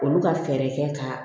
Olu ka fɛɛrɛ kɛ ka